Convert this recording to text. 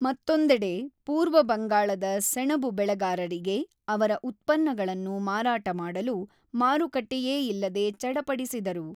ಮತ್ತೊಂದೆಡೆ, ಪೂರ್ವ ಬಂಗಾಳದ ಸೆಣಬು ಬೆಳೆಗಾರರಿಗೆ ಅವರ ಉತ್ಪನ್ನಗಳನ್ನು ಮಾರಾಟ ಮಾಡಲು ಮಾರುಕಟ್ಟೆಯೇ ಇಲ್ಲದೆ ಚಡಪಡಿಸಿದರು.